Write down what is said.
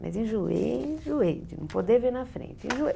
Mas enjoei, enjoei de não poder ver na frente. Enjoei